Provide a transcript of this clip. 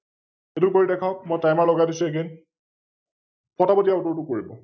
এ ইতো কৰি দেখাওক? মই Timer লগাই দিছো Again, ফটা ফট ইয়াৰ উত্তৰটো কৰিব ।